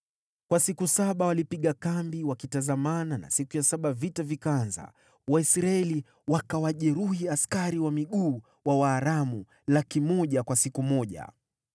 Kwa siku saba walipiga kambi wakitazamana na siku ya saba vita vikaanza. Waisraeli wakawajeruhi askari wa miguu wa Waaramu 100,000 kwa siku moja.